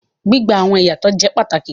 Gbigba awọn iyatọ jẹ pàtàkì